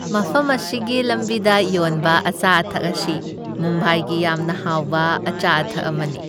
ꯃꯐꯝ ꯑꯁꯤꯒꯤ ꯂꯝꯕꯤꯗ ꯌꯣꯟꯕ ꯑꯆꯥ ꯑꯊꯛ ꯑꯁꯤ ꯃꯨꯝꯕꯥꯏꯒꯤ ꯌꯥꯝꯅ ꯍꯥꯎꯕ ꯑꯆꯥ ꯑꯊꯛ ꯑꯃꯅꯤ ꯫